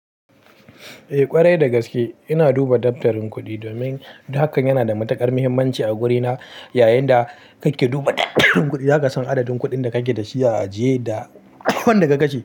Eh ƙwarai da gaske. Ina duba daftarin kuɗi domin haka yana da matuƙar muhimmanci a wurina. Yayinda kake duba daftarin kuɗi, zaka san adadin kuɗin da kake da shi a ajiye da wanda ka kashe.